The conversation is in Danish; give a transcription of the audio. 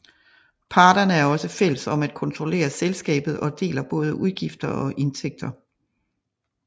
Parterne er også fælles om at kontrollere selskabet og deler både udgifter og indtægter